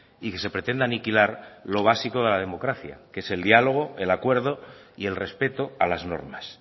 y que se pretenda aniquilar lo básico de la democracia que es el diálogo el acuerdo y el respeto a las normas